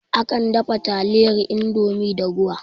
Akan dafa taliyar Indomie da ruwa